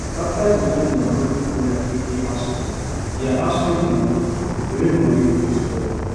after dey join dia moni togeda take pay house rent dia house rent rent moni reduce well welll